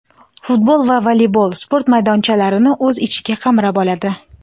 futbol va voleybol sport maydonchalarini o‘z ichiga qamrab oladi.